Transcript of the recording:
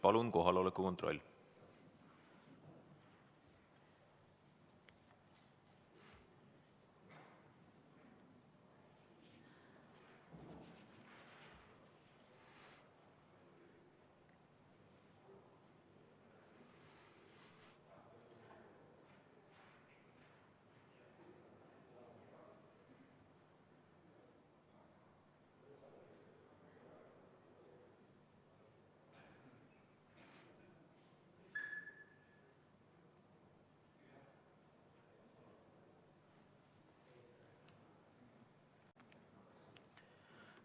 Palun kohaloleku kontroll!